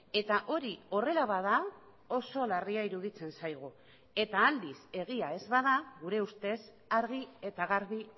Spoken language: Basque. eta hori horrela bada oso larria iruditzen zaigu eta aldiz egia ez bada gure ustez argi eta garbi